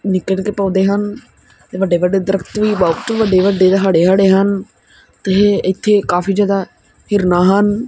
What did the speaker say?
ਨਿੱਕੇ ਨਿੱਕੇ ਪੌਦੇ ਹਨ ਵੱਡੇ ਵੱਡੇ ਦਰਖਤ ਵੀ ਬਹੁਤ ਵੱਡੇ ਵੱਡੇ ਹਰੇ ਹੜੇ ਹਨ ਤੇ ਇੱਥੇ ਕਾਫੀ ਜਿਆਦਾ ਹਿਰਨ ਹਨ।